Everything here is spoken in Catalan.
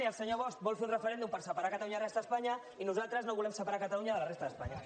i el senyor bosch vol fer un referèndum per separar catalunya de la resta d’espanya i nosaltres no volem separar catalunya de la resta d’espanya